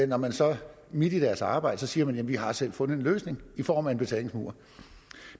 når man så midt i deres arbejde siger vi har selv fundet en løsning i form af en betalingsmur